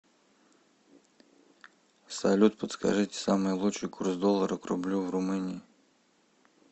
салют подскажите самый лучший курс доллара к рублю в румынии